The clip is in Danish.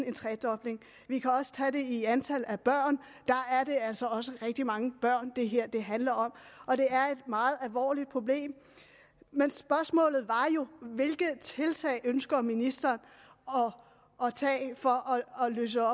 en tredobling vi kan også tage det i antal børn der er det altså også rigtig mange børn det her handler om og det er et meget alvorligt problem men spørgsmålet var jo hvilke tiltag ønsker ministeren at tage for at løse